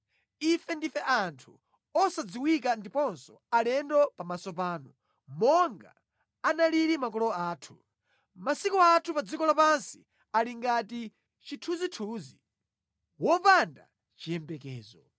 Ife ndife anthu osadziwika ndiponso alendo pamaso panu, monga analili makolo athu. Masiku anthu pa dziko lapansi ali ngati chithunzithunzi, wopanda chiyembekezo.